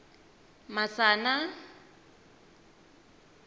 masana